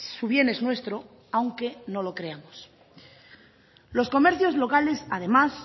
su bien es nuestro aunque no lo creamos los comercios locales además